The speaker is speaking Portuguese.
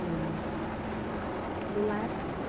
E... E lá era assim.